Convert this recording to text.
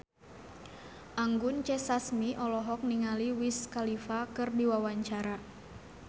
Anggun C. Sasmi olohok ningali Wiz Khalifa keur diwawancara